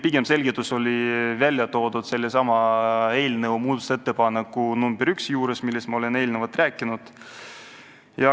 See selgitus oli välja toodud ka eelnõu muudatusettepaneku nr 1 juures, millest ma enne rääkisin.